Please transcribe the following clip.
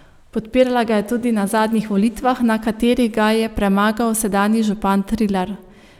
Podpirala ga je tudi na zadnjih volitvah, na katerih ga je premagal sedanji župan Trilar.